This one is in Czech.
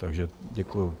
Takže děkuju.